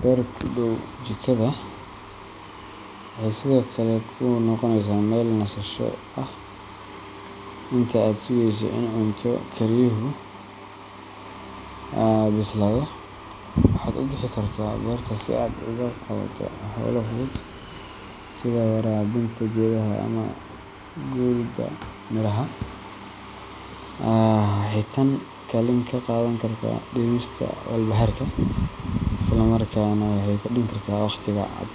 beer ku dhow jikada, waxay sidoo kale kuu noqoneysaa meel nasasho ah. Inta aad sugeyso in cunto kariyuhu bislaado, waxaad u bixi kartaa beerta si aad u qabato hawlo fudud, sida waraabinta geedaha ama guridda miraha. Waxay tani kaalin ka qaadan kartaa dhimista walbahaarka, isla markaana waxay kordhin kartaa waqtiga aad.